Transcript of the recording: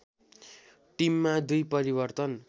टिममा दुई परिवर्तन